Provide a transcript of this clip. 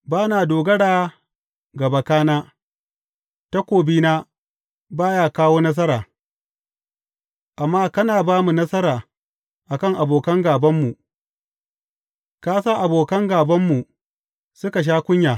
Ba na dogara ga bakana, takobina ba ya kawo nasara; amma kana ba mu nasara a kan abokan gābanmu, ka sa abokan gābanmu suka sha kunya.